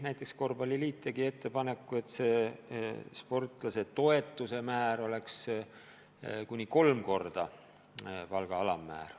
Näiteks korvpalliliit tegi ettepaneku, et sportlasetoetuse määr oleks kuni kolmekordne palga alammäär.